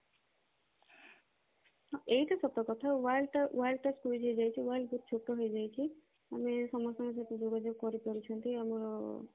ଏଇଟା ସତ କଥା world ଟା world ଟା squiz ହେଇ ଯାଇଛି world ବହୁତ ଛୋଟ ହେଇଯାଇଛି ଆମେ ସମସ୍ତଙ୍କ ସହିତ ଯୋଗାଯୋଗ କରି ପାରୁଛନ୍ତି ଆମର